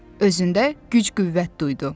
Özündə güc-qüvvət duydu.